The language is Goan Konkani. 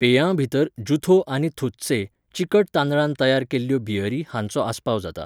पेयांभितर ज़ुथो आनी थुत्से, चिकट तांदळान तयार केल्ल्यो बियरी हांचो आस्पाव जाता.